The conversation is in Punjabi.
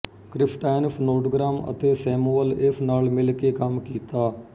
ਕ੍ਰਿਸਟਾਇਨ ਸਨੋਡਗ੍ਰਾਸ ਅਤੇ ਸੈਮੂਅਲ ਏਸ ਨਾਲ ਮਿਲ ਕੇ ਕੰਮ ਕੀਤਾ